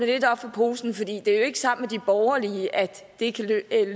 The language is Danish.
lidt op for posen det er jo ikke sammen med de borgerlige at det kan